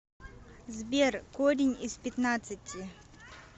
сбер корень из пятнадцати